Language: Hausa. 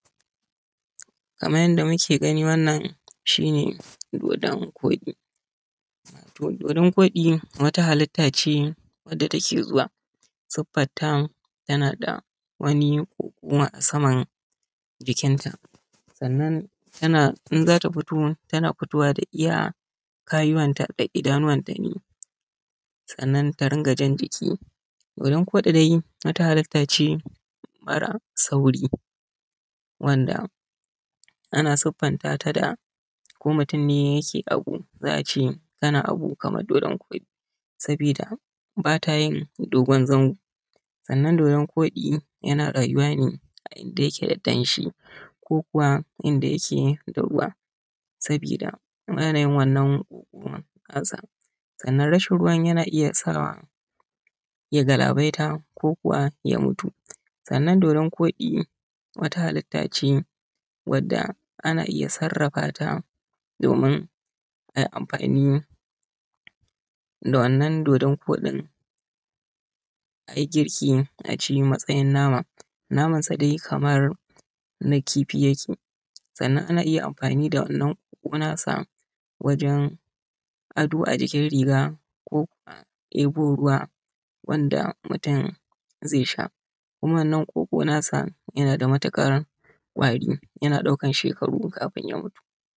Kaman yadda muke gani wannan shine dodon kodi dodon kodi wata halitta ce wanda take zuwa wata halitta ce mara sauri ko mutun ne yake abu zaa ce masa kana abu Kaman dodon kodi saboda bata dogon zango sannan dodon kodi yana rauwa ne a inda akwai danshi sannan rashin ruwan na iya sawa ya galabaita ko kuma ya mutu sannan ana iya sarrafa ta ayi girki acita amatsayin nama naman sa dai Kaman kifi yake sannan ana iya amfani da shi a yi ado a jikin riga